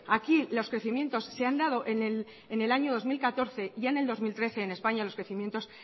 aquí los crecimientos se han dado en el año dos mil catorce y en el dos mil trece en españa los crecimientos